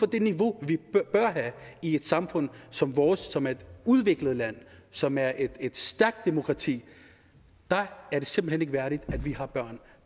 det niveau vi bør have i et samfund som vores som er et udviklet land som er et stærkt demokrati er det simpelt hen ikke værdigt at vi har børn